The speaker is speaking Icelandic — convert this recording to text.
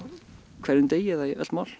hverjum degi eða í öll mál